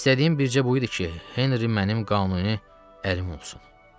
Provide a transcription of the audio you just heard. İstədiyim bircə buydu ki, Henri mənim qanuni ərim olsun.